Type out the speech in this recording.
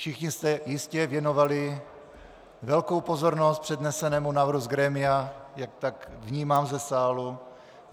Všichni jste jistě věnovali velkou pozornost přednesenému návrhu z grémia, jak tak vnímám ze sálu.